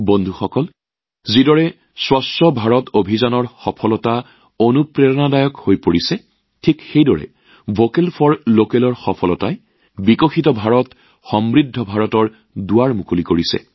বন্ধুসকল যেনেকৈ স্বচ্ছ ভাৰত অভিযানৰ সফলতাই ইয়াৰ প্ৰেৰণা হৈ পৰিছে ভোকেল ফৰ লোকেলৰ সফলতাই উন্নত ভাৰতসমৃদ্ধিশালী ভাৰতৰ দুৱাৰ মুকলি কৰিছে